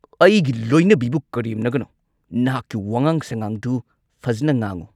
ꯑꯩꯒꯤ ꯂꯣꯏꯅꯕꯤꯕꯨ ꯀꯔꯦꯝꯅꯒꯅꯨ! ꯅꯍꯥꯛꯀꯤ ꯋꯥꯉꯥꯡ-ꯁꯥꯉꯥꯡꯗꯨ ꯐꯖꯅ ꯉꯥꯡꯉꯨ!